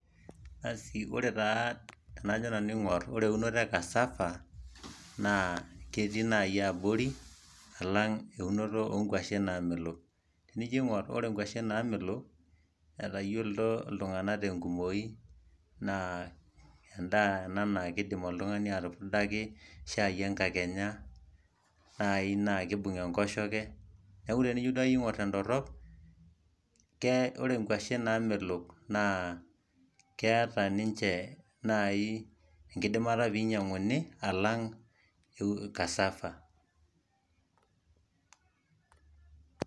Asii, ore taa tenajo nanu aing'orr ore eunoto e Cassava naa ketii naji abori alang' eunoto oonkuashen naamelok. Tenijo aing'orr ore nkuashen naamelok, etayiolito iltung'anak tenkumoi naa endaa ena naa keidim oltung'ani atupudaki shaai enkakenya, naai naa keibung' enkoshoke, neeku tenijo duakeyie aing'orr tendorrop, ore nkuashen naamelok naa keeta ninche naai enkidimata peinyang'uni alang' Cassava.